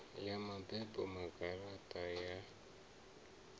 ya mabebo na garaṱa ya